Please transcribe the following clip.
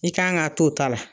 I kan ka t'o ta la